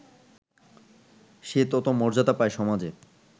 সে তত মর্যাদা পায় সমাজে